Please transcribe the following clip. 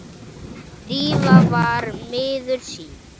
Drífa var miður sín.